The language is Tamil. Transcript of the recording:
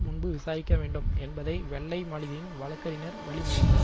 முன்பு விசாரிக்கவேண்டும் என்பதை வெள்ளை மாளிகையின் வழக்கறிஞர் வழி மொழிந்தார்